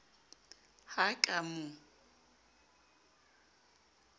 ha a ka a mo